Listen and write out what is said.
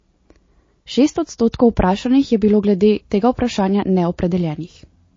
Šest odstotkov vprašanih je bilo glede tega vprašanja neopredeljenih.